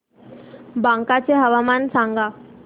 बांका चे हवामान सांगा